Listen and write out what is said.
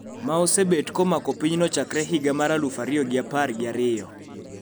Ma osebet komako pinyno chakre higa mar aluf ariyo gi apar gi ariyo